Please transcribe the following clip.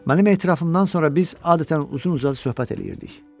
Mənim etirafımdan sonra biz adətən uzun-uzadı söhbət eləyirdik.